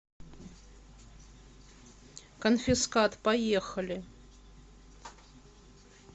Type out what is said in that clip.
конфискат поехали